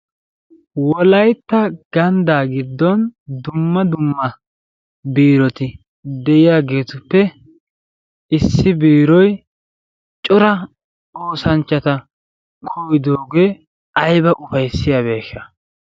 Wolaytta ganddaa giddon dumma dumma birroti de'iyaagetuppe issi biiroy cora oosanchchata koyyidoogee ayba ufayssiyaabeesha.